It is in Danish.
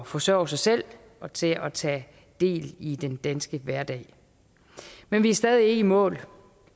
forsørge sig selv og til at tage del i den danske hverdag men vi er stadig ikke i mål